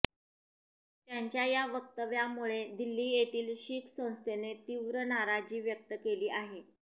त्यांच्या या वक्तव्यामुळे दिल्ली येथील शीख संस्थेने तीव्र नाराजी व्यक्त केली आहे